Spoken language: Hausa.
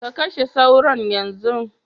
Kashe sauron yanzu.